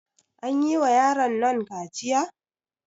An yi wa yaronnan kaciya?